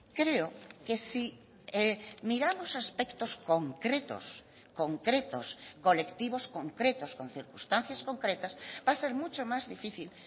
creo que si miramos aspectos concretos concretos colectivos concretos con circunstancias concretas va a ser mucho más difícil